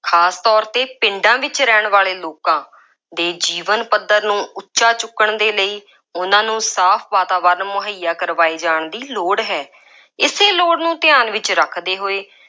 ਖਾਸ ਤੌਰ 'ਤੇ ਪਿੰਡਾਂ ਵਿੱਚ ਰਹਿਣ ਵਾਲੇ ਲੋਕਾਂ ਦੇ ਜੀਵਨ ਪੱਧਰ ਨੂੰ ਉੱਚਾ ਚੁੱਕਣ ਦੇ ਲਈ, ਉਹਨਾ ਨੂੰ ਸਾਫ ਵਾਤਾਵਰਨ ਮੁਹੱਇਆ ਕਰਵਾਏ ਜਾਣ ਦੀ ਲੋੜ ਹੈ। ਇਸੇ ਲੋੜ ਨੂੰ ਧਿਆਨ ਵਿੱਚ ਰੱਖਦੇ ਹੋਏ,